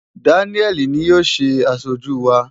Daniel ni yóò ṣe aṣojú wa.